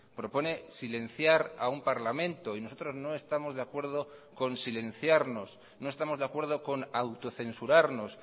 propone silenciar a un parlamento y nosotros no estamos de acuerdo con silenciarnos no estamos de acuerdo con autocensurarnos